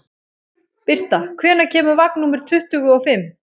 Birta, hvenær kemur vagn númer tuttugu og fimm?